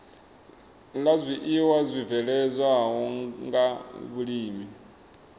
la zwiiwa zwibveledzwaho nga vhulimi